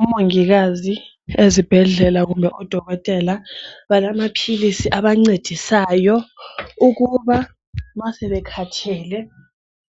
Omongikazi ezibhendlela kumbe odokotela balamaphilisi abancedisayo ukuba ma sebekhathele